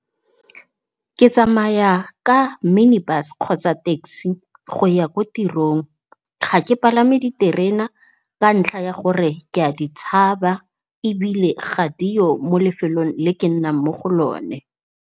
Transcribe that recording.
Ke tsamaya ka mini-bus kgotsa taxi go ya ko tirong, ga ke palame diterena ka ntlha ya gore ke ya ditshaba ebile ga diyo mo lefelong le ke nnang mo go lone.